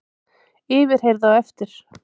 Yfirheyrð á eftir